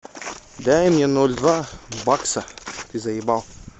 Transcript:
дай мне ноль два бакса ты заебал